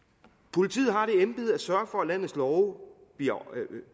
politiet har det embede at sørge for at landets love